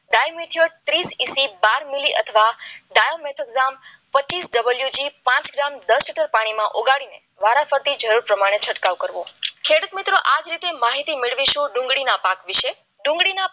ડાય મ્યુચ્યુઅલ ત્રીસ બાર મિલી અથવા ડાયામીટર એક્ઝામ પચીસ ડબલ્યુ જી પાંચ ગ્રામ દસ લીટર પાણીમાં ઓગાળી વાળા ફરતી માટે છંટકાવ કરવો ખેડૂત મિત્રો આ જ રીતે મેળવીશું ડુંગળીના પાક વિશે